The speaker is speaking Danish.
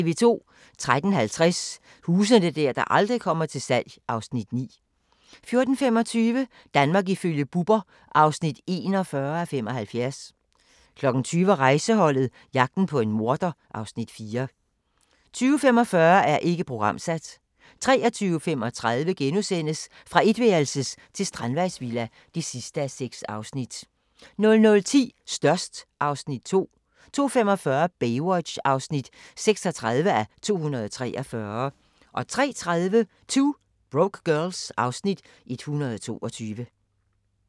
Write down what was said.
13:20: Huse der aldrig kommer til salg (Afs. 9) 14:25: Danmark ifølge Bubber (41:75) 20:00: Rejseholdet - jagten på en morder (Afs. 4) 20:45: Ikke programsat 23:35: Fra etværelses til strandvejsvilla (6:6)* 00:10: Størst (Afs. 2) 02:45: Baywatch (36:243) 03:30: 2 Broke Girls (Afs. 122)